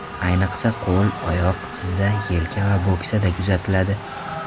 Ayniqsa, qo‘l, oyoq, tizza, yelka va bo‘ksada kuzatiladi.